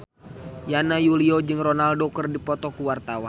Yana Julio jeung Ronaldo keur dipoto ku wartawan